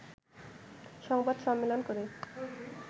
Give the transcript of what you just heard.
সংবাদ সম্মেলন করে